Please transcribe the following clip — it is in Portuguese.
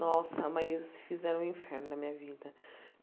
Nossa, mas fizeram o inferno da minha vida.